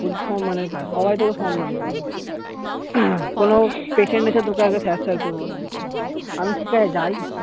বলছে সম্মানের কাজ সবাই তোকে সম্মান করবে কোনো patient এসে তোকে আগে sir sir করবে আমি ঠিকাছে যাই